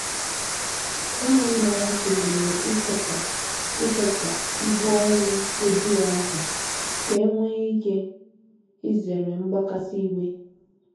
Umunne ya tulere ikesaa ikesaa ibu ọrụ Ojii ahụ ka enwe ike izere mgbakasị iwe.